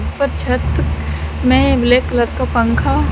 ऊपर छत में ब्लैक कलर का पंखा--